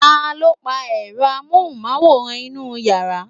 taló pa èro amóhùnmáwòrán inú yàrá?